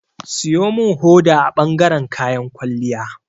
Siyo min hoda a bangaren kayan kwalliya.